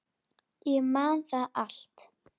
Ég man það allt.